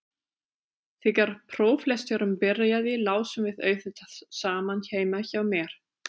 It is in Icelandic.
Þegar próflesturinn byrjaði lásum við auðvitað saman heima hjá mér.